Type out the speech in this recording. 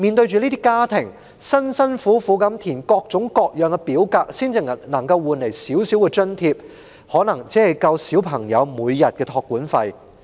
這些家庭辛辛苦苦地填寫各種各樣的表格，換來的少許津貼恐怕只夠應付小朋友每天的託管費。